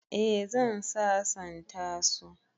Eh zan sasanta su